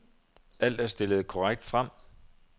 Alt er stillet korrekt frem.